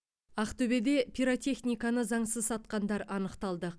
ақтөбеде пиротехниканы заңсыз сатқандар анықталды